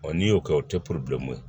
n'i y'o kɛ o tɛ ye